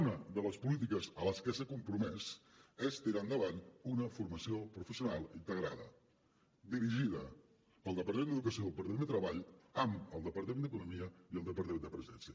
una de les polítiques a les que s’ha compromès és tirar endavant una formació professional integrada dirigida pel departament d’educació i el departament de treball amb el departament d’economia i el departament de la presidència